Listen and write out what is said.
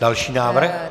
Další návrh.